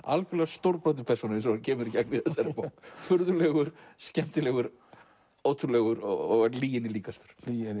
algjörlega stórbrotin persóna eins og hann kemur í gegn í þessari bók furðulegur skemmtilegur ótrúlegur og lyginni líkastur